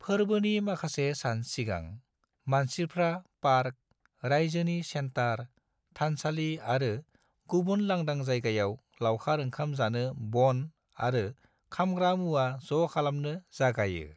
फोरबोनि माखासे सान सिगां, मानसिफ्रा पार्क, राइजोनि सेन्टार, थानसालि आरो गुबुन लांदां जायगायाव लावखार ओंखाम जानो बन आरो खामग्रा मुवा ज' खालामनो जागायो।